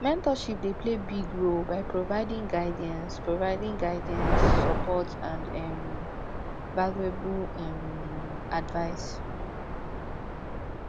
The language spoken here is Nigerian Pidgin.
mentorship dey play big role by providing guidance providing guidance support and um valuable um advice um